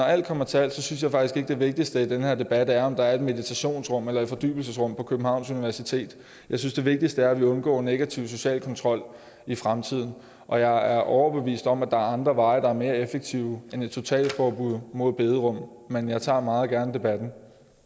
alt kommer til alt synes jeg faktisk ikke at det vigtigste i den her debat er om der er et meditationsrum eller et fordybelsesrum på københavns universitet jeg synes det vigtigste er at vi undgår negativ social kontrol i fremtiden og jeg er overbevist om er andre veje der er mere effektive end et totalforbud mod bederum men jeg tager meget gerne debatten